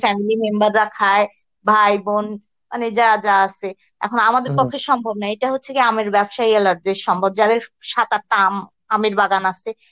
family member রা খায় ভাই বোন মানে যা যা আছে এখন আমাদের এখন আমাদের পক্ষে সম্ভব নয় এটা হচ্ছে আমের ব্যবসায়ীদের সম্ভব যাদের সাত আটটা আম, আমের বাগান আছে